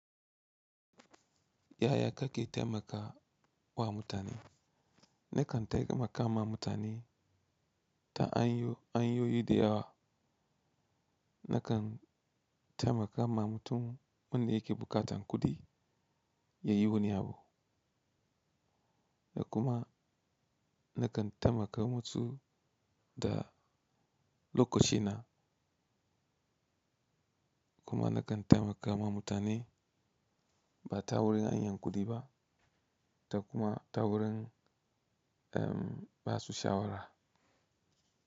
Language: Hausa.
Yaya kake taimakawa mutane? Nakan taimaka ma mutane ta hanyoyi da yawa. Nakan taimakawa mutum wanda yake buƙatar kuɗi yayi wani abu. Da kuma nakan taimakawa mus da lokaci na. Kuma nakan taimakawa mutane ba tawurin hanyar kuɗi ba da kuma tawurin, umm, basu shawara.